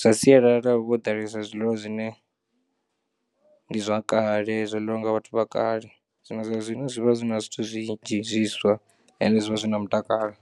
zwa sialala hu vha ho ḓalesa zwiḽiwa zwine ndi zwa kale zwo ḽiwa nga vhathu vha kale zwino zwa zwino zwivha zwi na zwithu zwinzhi zwiswa ende zwi vha zwi na mutakalo.